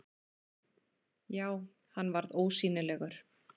Já, hann varð ósýnilegur!